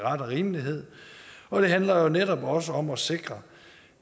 rimelighed og det handler jo netop også om at sikre